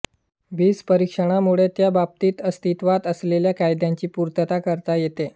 बीजपरीक्षणामुळे त्या बाबतीत अस्तित्वात असलेल्या कायद्याची पूर्तता करता येते